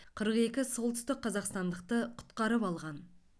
қырық екі солтүстік қазақстандықты құтқарып алған